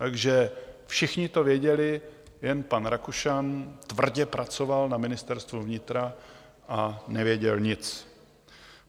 Takže všichni to věděli, jen pan Rakušan tvrdě pracoval na Ministerstvu vnitra a nevěděl nic.